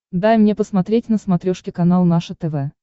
дай мне посмотреть на смотрешке канал наше тв